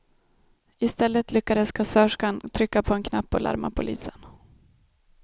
I stället lyckades kassörskan trycka på en knapp och larma polisen.